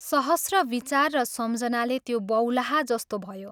सहस्र विचार र सम्झनाले त्यो बौलाहा जस्तो भयो।